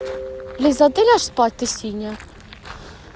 лиза а ты ляг спать ты синяя